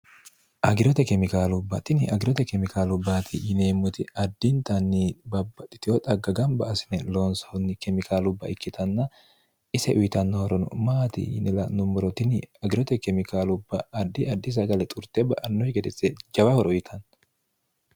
agirote kemikaalubbatini agirote kemikaalubbaati yineemmoti addintanni babbaxitiyo xagga gamba asine loonsoonni kemikaalubba ikkitanna ise uyitannohorono maati yinel nummorotini agirote kemikaalubba ardi adi sagale xurte ba'annohi gedesse jabahoro uyitanno